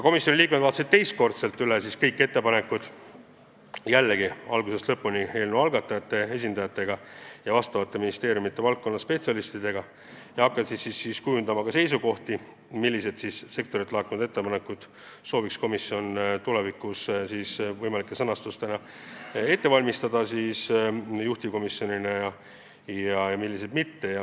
Komisjoni liikmed vaatasid koos eelnõu algatajate esindajate ja ministeeriumide spetsialistidega kõik ettepanekud algusest lõpuni uuesti üle ja hakkasid kujundama ka seisukohti, milliseid sektorilt laekunud ettepanekuid võiks komisjon sõnastada juhtivkomisjoni muudatusettepanekutena ja milliseid mitte.